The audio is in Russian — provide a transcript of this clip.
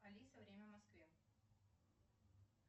алиса время в москве